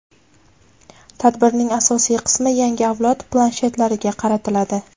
tadbirning asosiy qismi yangi avlod planshetlariga qaratiladi.